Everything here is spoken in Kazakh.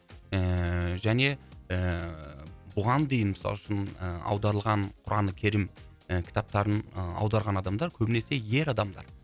ыыы және ыыы бұған дейін мысалы үшін ы аударылған құран керім ы кітаптарын ы аударған адамдар көбінесе ер адамдар